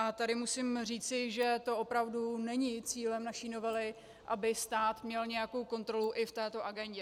A tady musím říci, že to opravdu není cílem naší novely, aby stát měl nějakou kontrolu i v této agendě.